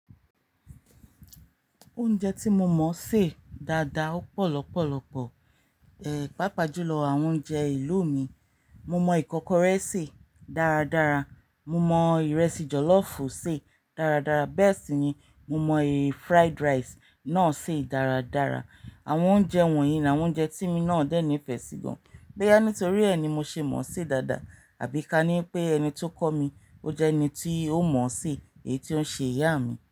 Oúnjẹ tí mo mọ̀ sè dáadáa ọ̀pọ̀ lọpọ̀lọpọ̀. Eeh, pàápàá jùlọ àwọn oúnjẹ ìlú mi. Mo mọ ìkọ́kọrẹ́ sè dáradára, mo mọ ìrẹsì jọ̀lọ́fùú sè dáradára bẹ́ẹ̀ sì ni mo mọ èyí fried rice náà sè dáradára. Àwọn oúnjẹ wọ̀nyí ni àwọn oúnjẹ tí mí nà á dé ni ìfẹ́ sí gan. Boyà nítorí ẹ ni mo ṣe mọ̀ọ́ sè dáadáa àbí ka ní pé ẹni tó kọ́ mi o jẹ́ ẹni tí ó mọ̀ọ́ sè, èyí tí ó ń ṣe ìyá mi.